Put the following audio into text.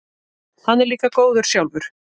Hann er líka góður sjálfur.